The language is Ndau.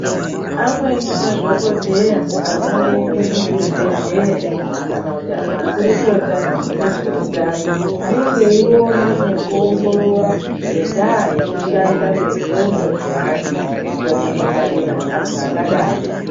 Amweni madhokodheya anooneka muzvibhedhleya kana kuti makurukota ezveutano anenge eiona nekuongorora ngendaa yekushanda kwendxondo dzeanthu kukone kungwarira anthu akadaro.